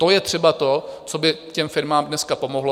To je třeba to, co by těm firmám dneska pomohlo.